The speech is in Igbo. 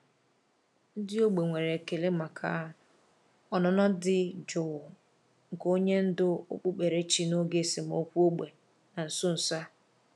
Ndị ógbè nwere ekele maka ọnụnọ dị jụụ nke onye ndú okpukperechi n’oge esemokwu ógbè na nso nso a.